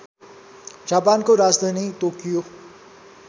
जापानको राजधानी टोकियो